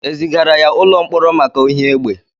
Ezigara ya ụlọ mkpọrọ maka ohi egbe